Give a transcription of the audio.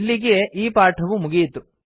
ಇಲ್ಲಿಗೀ ಪಾಠವು ಮುಗಿಯಿತು